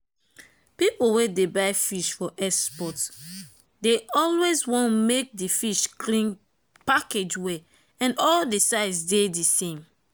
people wey dey buy fish for export dey always want make di fish clean package well and all di size dey the same.